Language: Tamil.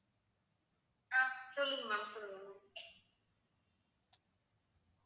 அஹ் சொல்லுங்க ma'am சொல்லுங்க